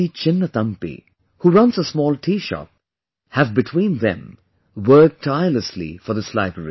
Chinnathampi who runs a small tea shop, have between them worked tirelessly for this library